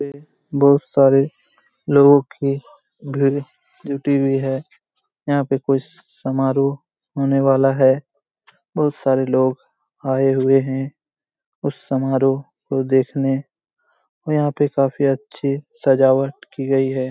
बहुत सारे लोगों की ड्यूटी भी है यहा पे कोई समरो होने वाला है बहुत सारे लोह आए हुए है उस समरो को देखने और यहा पे काफी अच्छी सजावट की गई है|